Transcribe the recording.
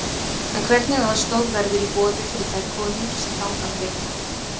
En hvernig aðstoð verður í boði fyrir þær konur sem þangað leita?